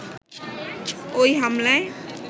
ওই হামলায়